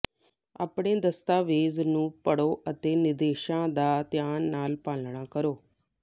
ਆਪਣੇ ਦਸਤਾਵੇਜ਼ ਨੂੰ ਪੜ੍ਹੋ ਅਤੇ ਨਿਰਦੇਸ਼ਾਂ ਦਾ ਧਿਆਨ ਨਾਲ ਪਾਲਣਾ ਕਰੋ